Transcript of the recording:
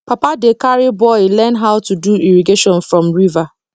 papa dey carry boy learn how to do irrigation from river